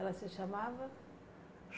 Ela se chamava?